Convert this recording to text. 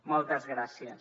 moltes gràcies